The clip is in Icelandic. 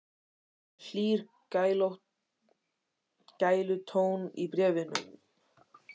Það er hlýr gælutónn í bréfunum.